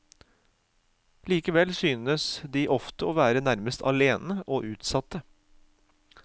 Likevel synes de ofte å være nærmest alene og utsatte.